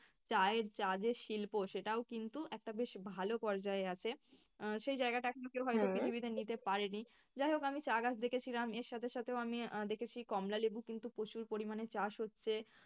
চায়ের চা যে শিল্প সেটাও কিন্তু একটা বেশ ভালো পর্যায়ে আছে, আহ সেই জায়গাটা এখন পৃথিবীতে নিতে পারেনি। যাই হোক আমি চা গাছ দেখেছিলাম এর সাথে সাথে আমি দেখেছি কমলালেবু কিন্তু প্রচুর পরিমাণে চাষ হচ্ছে।